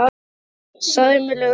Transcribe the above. Karl: Og sæmilegur fiskur?